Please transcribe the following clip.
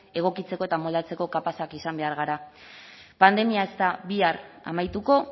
egokitzeko eta moldatzeko kapazak izan behar gara pandemia ez da bihar amaituko